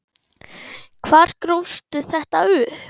Hvar grófstu þetta upp?